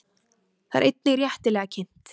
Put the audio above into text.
Það er einnig réttilega kynnt.